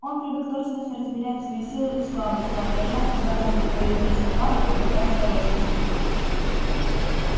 он привык точно соразмерять свою силу и слабость соображая когда надо проявить отвагу а когда осторожность